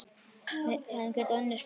Við hefðum getað unnið Spán.